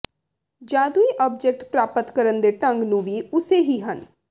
ਜਾਦੂਈ ਆਬਜੈਕਟ ਪ੍ਰਾਪਤ ਕਰਨ ਦੇ ਢੰਗ ਨੂੰ ਵੀ ਉਸੇ ਹੀ ਹਨ